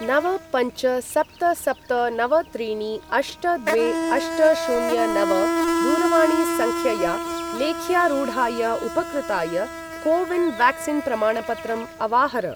नव पञ्च सप्त सप्त नव त्रीणि अष्ट द्वे अष्ट शून्य नव दूरवाणीसङ्ख्यया लेख्यारूढाय उपकृताय को विन् व्याक्सीन् प्रमाणपत्रं अवाहर।